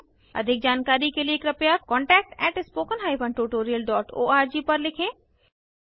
अधिक जानकारी के लिए कृपया contact at spoken hyphen tutorial dot org पर लिखें